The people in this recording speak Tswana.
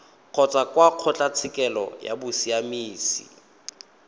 kgotsa kwa kgotlatshekelo ya bosiamisi